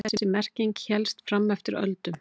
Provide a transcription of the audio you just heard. Þessi merking hélst fram eftir öldum.